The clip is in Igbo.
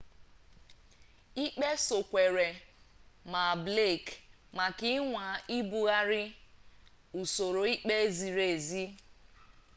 ikpe sokwere maa blake maka ịnwa ibugharị usoro ikpe ziri ezi